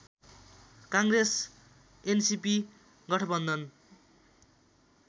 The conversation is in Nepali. काङ्ग्रेस एनसीपी गठबन्धन